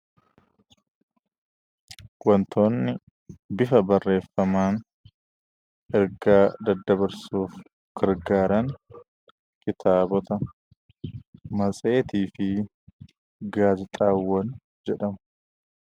Wantoonni bifa barreeffamaan ergaa daddabarsuuf gargaaran kitaabota, matseetii fi gaazexaawwan jedhamu.